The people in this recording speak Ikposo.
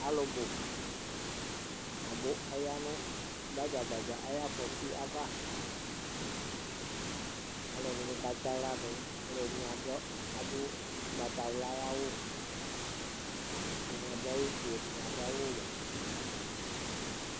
Alʋ bʋ atanɩ abʋ Aya gbadza gbadza ayʋ afɔtɩ ava Alʋɛdɩnɩ katsɩ aɣla dʋ, alʋɛdɩnɩ adʋ adʋ ʋgbatawla ayʋ awʋ, ɛdɩnɩ adʋ awʋfue, ɛdɩnɩ adʋ awʋwɛ